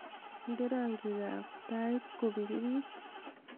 inde rangiik ab tait kobirirt